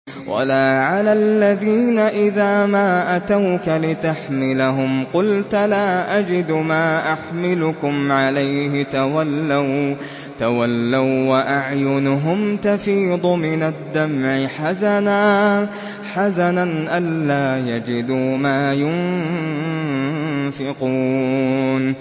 وَلَا عَلَى الَّذِينَ إِذَا مَا أَتَوْكَ لِتَحْمِلَهُمْ قُلْتَ لَا أَجِدُ مَا أَحْمِلُكُمْ عَلَيْهِ تَوَلَّوا وَّأَعْيُنُهُمْ تَفِيضُ مِنَ الدَّمْعِ حَزَنًا أَلَّا يَجِدُوا مَا يُنفِقُونَ